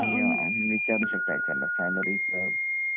तुम्ही विचारू शकता एच आर ला सॅलरी च